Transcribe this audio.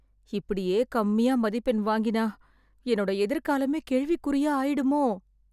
இப்படியே கம்மியா மதிப்பெண் வாங்கினா என்னோட எதிர்காலமே கேள்விக்குறியா ஆயிடுமோ